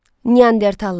Neandertallar.